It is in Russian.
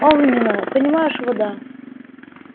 огненная понимаешь вода